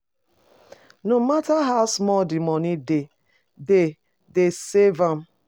No matter how small the money dey, dey dey save am